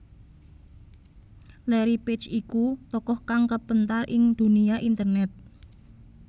Larry Page iku tokoh kang kapéntar ing dunia internét